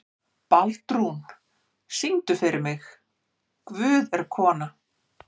Baldrún, syngdu fyrir mig „Guð er kona“.